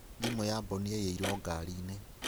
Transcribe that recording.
Thimũ ya Bon yaiyĩrwo ngari inĩ.